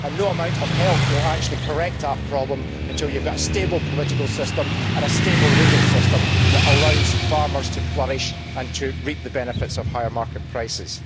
No amount of help will actually correct that problem until you have got a stable political system and a stable legal system that allows farmers to flourish and to reap the benefits of higher market prices.